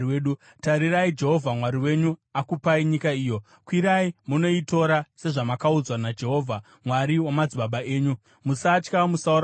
Tarirai, Jehovha Mwari wenyu akupai nyika iyo. Kwirai munoitora, sezvamakaudzwa naJehovha, Mwari wamadzibaba enyu. Musatya; musaora mwoyo.”